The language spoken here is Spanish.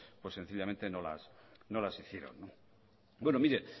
pues sencillamente no las hicieron bueno mire